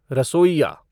रसोइया